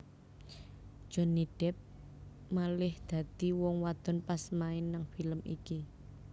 Johnny Depp malih dadi wong wadon pas main nang film iki